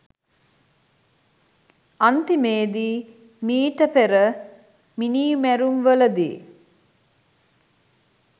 අන්තිමේදී මීට පෙර මිනී මැරුම් වලදී